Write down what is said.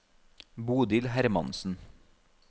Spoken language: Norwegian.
Bodil Hermansen